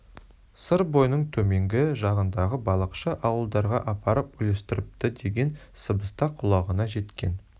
сыр бойының төменгі жағындағы балықшы ауылдарға апарып үлестіріпті деген сыбыс та құлағына жеткен